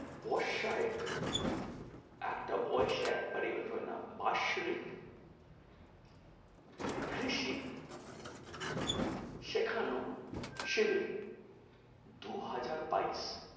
বস্যা এক একটা বয়েস এ একবারই event হয় না, বাসরিক কৃষি সেখানেও শিবির দু হাজার বাইশ,